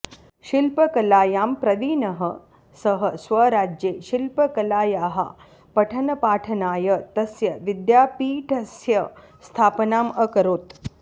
शिल्पकलायां प्रवीणः सः स्वराज्ये शिल्पकलायाः पठनपाठनाय तस्य विद्यापीठस्य स्थापनाम् अकरोत्